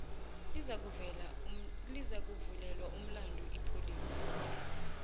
lizakuvulelwa umlandu ipholisa